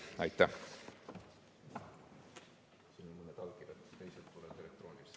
Aitäh!